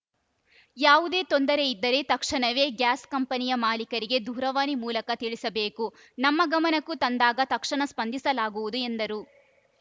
ಯಾವುದೇ ತೊಂದರೆ ಇದ್ದರೆ ತಕ್ಷಣವೇ ಗ್ಯಾಸ್‌ ಕಂಪನಿಯ ಮಾಲೀಕರಿಗೆ ದೂರವಾಣಿ ಮೂಲಕ ತಿಳಿಸಬೇಕು ನಮ್ಮ ಗಮನಕ್ಕೂ ತಂದಾಗ ತಕ್ಷಣ ಸ್ಪಂದಿಸಲಾಗುವುದು ಎಂದರು